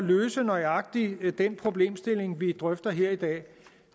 løse nøjagtig den problemstilling vi drøfter her i dag